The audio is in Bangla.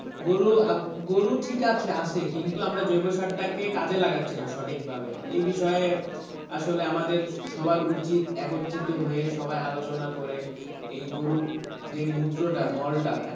গরু আহ গরু ঠিক আছে আসে কিন্তু আমরা জৈব সারটাকে কাজে লাগাচ্ছিনা সঠিক ভাবে এই বিষয়ে আসলে আমাদের সবার উচিৎ একত্রিত হয়ে সবাই আলোচনা করে এই গরুর যে মূত্রটা, মলটা,